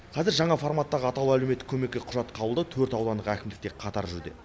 қазір жаңа форматтағы атаулы әлеуметтік көмекке құжат қабылдау төрт аудандық әкімдікте қатар жүруде